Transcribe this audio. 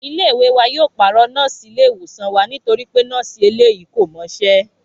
Ilé ìwé wa yóò pàrọ̀ nọ́ọ̀sì ilé-ìwòsàn wa nítorí pé nọ́ọ̀sì eléyìí kò mọṣẹ́